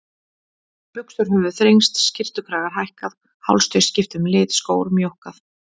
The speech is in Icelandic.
Buxur höfðu þrengst, skyrtukragar hækkað, hálstau skipt um lit, skór mjókkað.